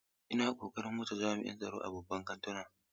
Ina kokarin wuce jami'in tsaro a babban kantuna.